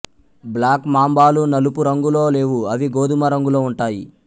black మాంబాలు నలుపు రంగులో లేవు అవి గోధుమ రంగులో ఉంటాయి